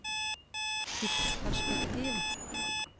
tidsperspektiv